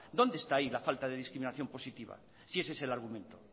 dónde está ahí la falta de discriminación positiva si ese es el argumento